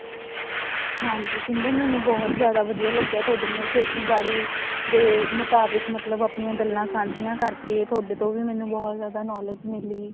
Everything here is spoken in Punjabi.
ਹਾਂਜੀ ਸਿਮਰਨ ਮੈਨੂੰ ਬਹੁਤ ਜਿਆਦਾ ਵਧੀਆ ਲੱਗਿਆ ਥੋਡੇ ਨਾਲ ਖੇਤੀਬਾੜੀ ਦੇ ਮੁਤਾਬਿਕ ਆਪਣੀਆਂ ਗੱਲਾਂ ਸਾਂਝੀਆਂ ਕਰਕੇ ਥੋੜੇ ਤੋਂ ਵੀ ਮੈਨੂੰ ਬਹੁਤ ਜਿਆਦਾ knowledge ਮਿਲੀ